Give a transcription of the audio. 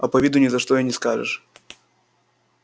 а по виду ни за что не скажешь